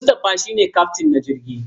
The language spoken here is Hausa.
Mustapha shi ne kyaftin na jirgin.